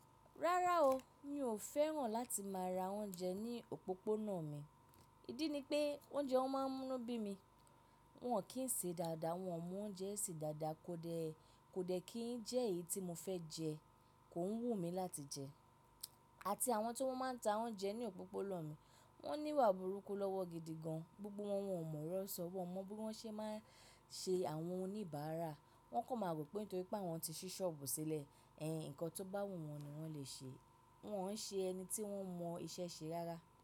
Rárá o, mi ò fẹ́ràn láti má ra oúnjẹ ní òpópónà mi. Ìdí ni pé oúnjẹ wọn máa ń mú bí mi, wọn kì ń ṣe dáadáa, wọn mo oúnjẹ ṣe dáadáa kò dẹ̀ kò dẹ̀ kí jẹ́ èyí tí mo fẹ́ jẹ, kò ń wù mí láti jẹ. Àti àwọn tó máa ń ta oúnjẹ ní òpópónà mi wọ́n níwà burúkú lọ́wọ́ gidi gan, gbogbo wọn wọ́n mọ̀ ọ̀rọ̀ sọ, wọ́n mọ bí wọ́n ṣe máa ń ṣe àwọn ohun níbàárà, wọ́n kò mọ̀ pé nítorí pé àwọn ti ṣí ṣọ́ọ̀bù sílẹ̀, ẹhn, nǹkan tó bá wù wọn ni wọ́n lè ṣe. Wọn ò ṣe ẹni tí wọ́n mọ iṣẹ́ ṣe rárá.